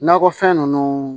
Nakɔfɛn ninnu